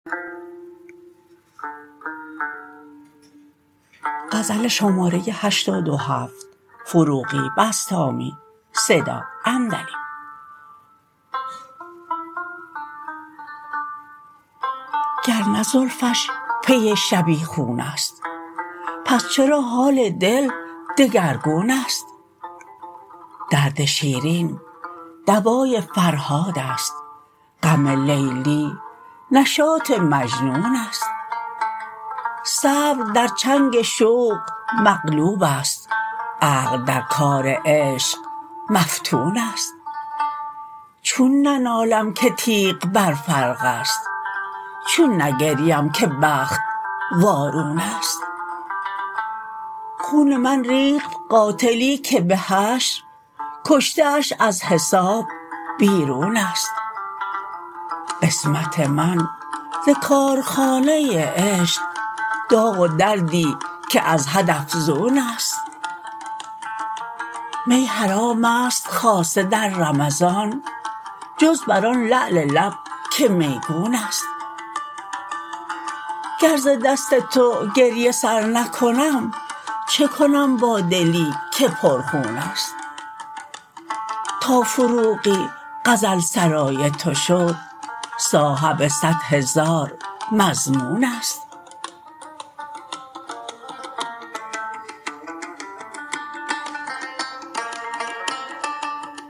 گر نه زلفش پی شبیخون است پس چرا حال دل دگرگون است درد شیرین دوای فرهاد است غم لیلی نشاط مجنون است صبر در چنگ شوق مغلوب است عقل در کار عشق مفتون است چون ننالم که تیغ بر فرق است چون نگریم که بخت وارون است خون من ریخت قاتلی که به حشر کشته اش از حساب بیرون است قسمت من ز کارخانه عشق داغ و دردی که از حد افزون است می حرام است خاصه در رمضان جز بر آن لعل لب که میگون است گر ز دست تو گریه سر نکنم چه کنم با دلی که پر خون است تا فروغی غزل سرای تو شد صاحب صد هزار مصمون است